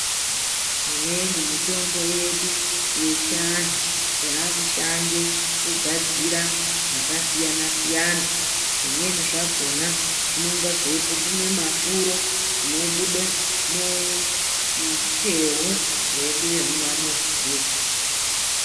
Imweni mitombo yedu yechi andu yaku shande ku gadzira zvaka siyana zvimweni zvakona zvinenge zvei pupuma mafuro zvino bude muteu redu remuma muzi iroro.